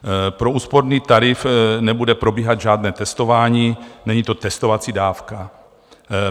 Pro úsporný tarif nebude probíhat žádné testování, není to testovací dávka.